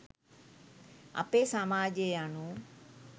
අපේ සමාජය යනු